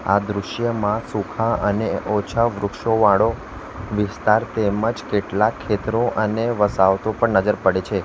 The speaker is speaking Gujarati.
આ દૃશ્યમાં સુખા અને ઓછા વૃક્ષો વાળો વિસ્તાર તેમજ કેટલા ખેતરો અને વસાવતો પણ નજર પડે છે.